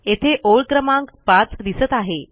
येथे ओळ क्रमांक 5 दिसत आहे